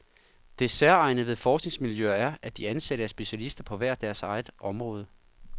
Det særegne ved forskningsmiljøer er, at de ansatte er specialister på hver deres område.